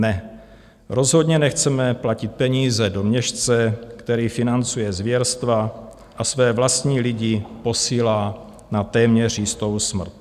Ne, rozhodně nechceme platit peníze do měšce, který financuje zvěrstva a své vlastní lidi posílá na téměř jistou smrt.